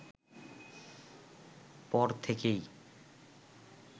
পর থেকেই